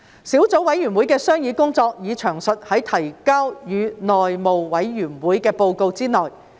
小組委員會的商議工作已詳述在提交予內務委員會的報告內。